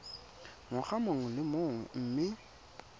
ngwaga mongwe le mongwe mme